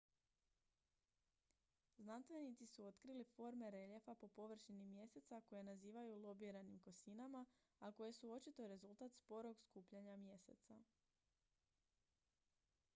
znanstvenici su otkrili forme reljefa po površini mjeseca koje nazivaju lobiranim kosinama a koje su očito rezultat sporog skupljanja mjeseca